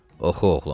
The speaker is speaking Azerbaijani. Oxu, oğlum.